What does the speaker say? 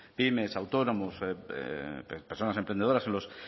pymes autónomos personas emprendedoras en los